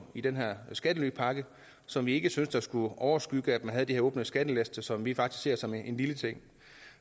i den skattelypakke som vi ikke syntes skulle overskygges af at man havde de her åbne skattelister som vi faktisk ser som en lille ting